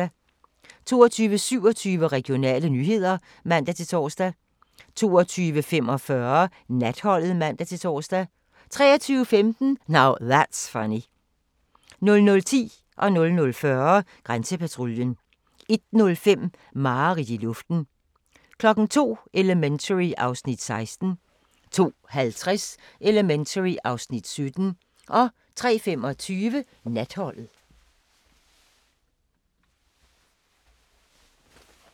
22:27: Regionale nyheder (man-tor) 22:45: Natholdet (man-tor) 23:15: Now That's Funny 00:10: Grænsepatruljen 00:40: Grænsepatruljen 01:05: Mareridt i luften 02:00: Elementary (Afs. 16) 02:50: Elementary (Afs. 17) 03:25: Natholdet